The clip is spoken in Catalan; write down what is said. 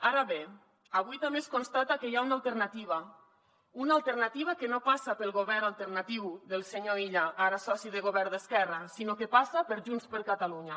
ara bé avui també es constata que hi ha una alternativa una alternativa que no passa pel govern alternatiu del senyor illa ara soci de govern d’esquerra sinó que passa per junts per catalunya